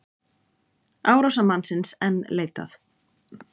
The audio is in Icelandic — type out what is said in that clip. Árásarmannsins enn leitað